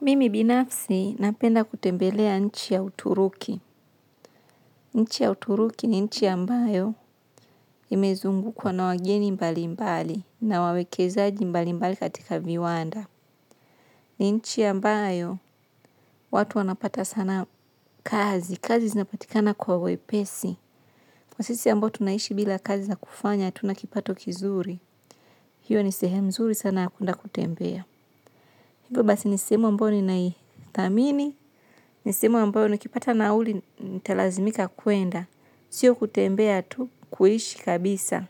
Mimi binafsi napenda kutembelea nchi ya Uturuki. Nchi ya Uturuki ni nchi ya mbayo imezungukwa na wageni mbali mbali na wawekezaji mbali mbali katika viwanda. Ni nchi ambayo watu wanapata sana kazi. Kazi zinapatikana kwa wepesi. Kwa sisi ambayo tunaishi bila kazi na kufanya, tuna kipato kizuri. Hiyo ni sehemu zuri sana ya kwenda kutembea. Hivyo basi ni sehemu ambayo ninathamini, ni sehemu ambayo nikipata nauli nitalazimika kwenda, sio kutembea tu kuishi kabisa,